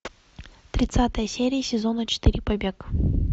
тридцатая серия сезона четыре побег